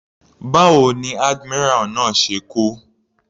Báwo ni admiral náà ṣe kú.